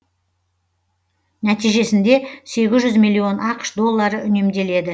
нәтижесінде сегіз жүз миллион ақш доллары үнемделеді